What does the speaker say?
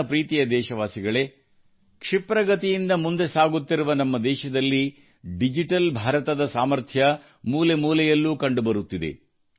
ನನ್ನ ಪ್ರೀತಿಯ ದೇಶವಾಸಿಗಳೇ ಕ್ಷಿಪ್ರಗತಿಯಿಂದ ಮುಂದೆ ಸಾಗುತ್ತಿರುವ ನಮ್ಮ ದೇಶದಲ್ಲಿ ಡಿಜಿಟಲ್ ಭಾರತದ ಸಾಮರ್ಥ್ಯ ಪ್ರತಿಯೊಂದು ಮೂಲೆಯಲ್ಲೂ ಕಂಡುಬರುತ್ತಿದೆ